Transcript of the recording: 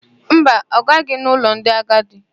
Mba, ọ gaghị n'ụlọ ndị agadi.